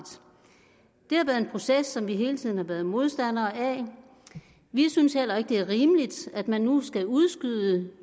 det har været en proces som vi hele tiden har været modstandere af vi synes heller ikke det er rimeligt at man nu skal udskyde